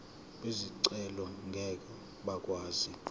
bezicelo ngeke bakwazi